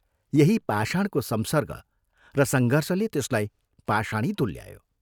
यही पाषाणको संसर्ग र संघर्षले त्यसलाई पाषाणी तुल्यायो।